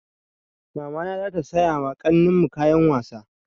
Mamana za ta saya ma ƙanin mu kayan wasa.